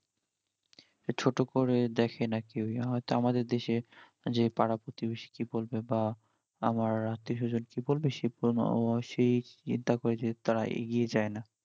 ছোট করে দ্যাখে না কেউই, হইত আমাদের দেশে যে পাড়া প্রতিবেশী কি বলবে বা আমার আত্তীয় সজন কি বলবে, সে সে চিন্তা করে তাড়া এগিয়ে যাই না